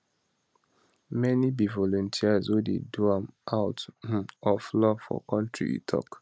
many be volunteers wey dey do am out um of love for kontri e tok